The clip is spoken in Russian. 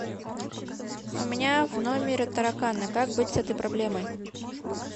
у меня в номере тараканы как быть с этой проблемой